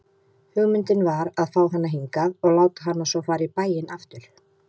Hugmyndin var að fá hana hingað og láta hana svo fara í bæinn aftur.